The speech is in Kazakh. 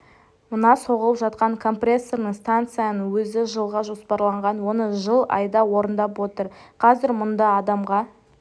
мына соғылып жатқан компрессорный станцияның өзі жылға жоспарланған оны жыл айда орындап отыр қазір мұнда адамға